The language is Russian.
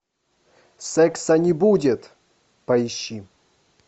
секса не будет поищи